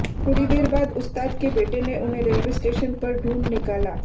थोड़ी देर बाद उस्ताद के बेटे ने उन्हें रेलवे स्टेशन पर ढूँढ निकाला